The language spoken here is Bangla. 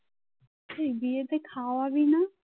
এই বিয়েতে খাওয়াবি না